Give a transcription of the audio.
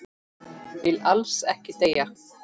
Vill alls ekki deyja.